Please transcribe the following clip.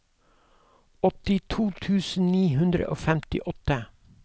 åttito tusen ni hundre og femtiåtte